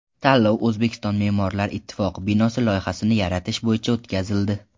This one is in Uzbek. Tanlov O‘zbekiston me’morlar ittifoqi binosi loyihasini yaratish bo‘yicha o‘tkazildi.